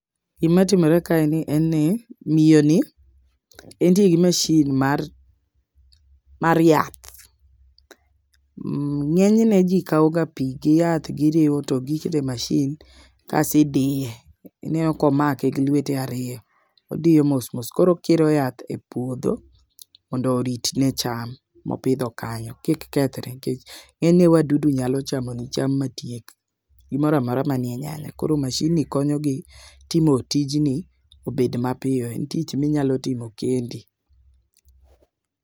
Gima timore kae en ni miyo ni entie gi masin mar mar yath. Ng'enyne jii kawo ga pii giriwo to gikete masin kasidiye. Ineno komake gi lwetege ariyo odiyo mosmos. Koro okiro yath e puodho mondo oritne cham mopidho kanyo kik kethre nikech ng'enyne wadudu nyalo chamo ni cham ma tiek gimoramora manie nyale koro masin ni konyo gi timo tijni obed mapiyo . En tich minyalo timo kendi.